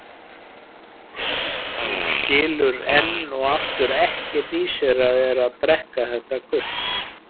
Hún skilur enn og aftur ekkert í sér að vera að drekka þetta gutl.